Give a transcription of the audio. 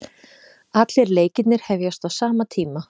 Allir leikirnir hefjast á sama tíma